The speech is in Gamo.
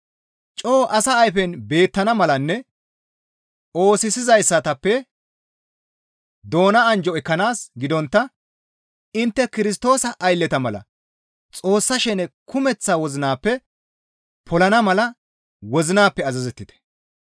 Coo asa ayfen beettana malanne oosisizaytappe doona anjjo ekkanaas gidontta intte Kirstoosa aylleta mala Xoossa shene kumeththa wozinappe polana mala wozinappe azazettite.